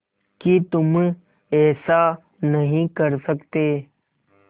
कि तुम ऐसा नहीं कर सकते